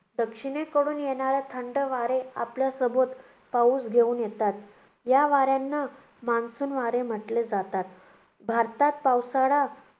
दक्षिणेकडून येणारे थंड वारे आपल्यासोबत पाऊस घेऊन येतात. या वाऱ्यांना monsoon वारे म्हटले जातात. भारतात पावसाळा